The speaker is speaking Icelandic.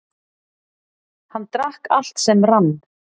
Hann drakk allt sem rann.